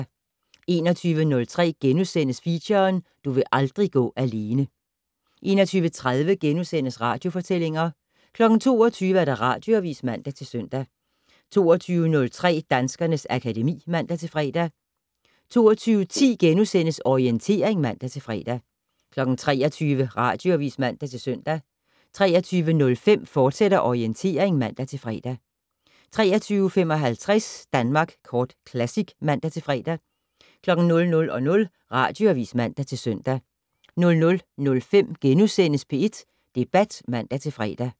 21:03: Feature: Du vil aldrig gå alene * 21:30: Radiofortællinger * 22:00: Radioavis (man-søn) 22:03: Danskernes akademi (man-fre) 22:10: Orientering *(man-fre) 23:00: Radioavis (man-søn) 23:05: Orientering, fortsat (man-fre) 23:55: Danmark Kort Classic (man-fre) 00:00: Radioavis (man-søn) 00:05: P1 Debat *(man-fre)